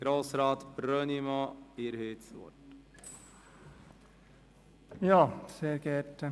Grossrat Brönnimann, Sie haben das Wort.